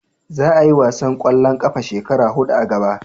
Za a yi wasan kwallon kafa shekara hudu a gaba